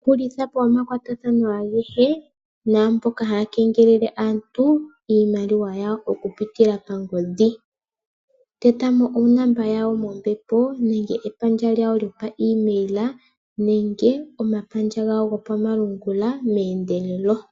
Hulithapo omakwatathano agehe naamboka haya kengelele aantu, iimaliwa yawo oku pitila pangodhi. Tetamo onomola yawo mombepo nenge epandja lyawo lyopa email, nenge omapandja gawo go pamalungula meendelelo.